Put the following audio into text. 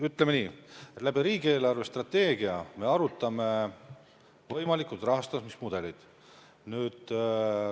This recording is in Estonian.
Ütleme nii, et riigi eelarvestrateegiaga seoses me arutame võimalikud rahastamismudelid läbi.